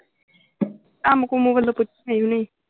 ਕੰਮ ਕੁੰਮ ਵੱਲੋਂ ਕੁਛ ਸੀ ਵੀ ਨਹੀਂ।